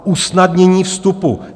Dál: usnadnění vstupu.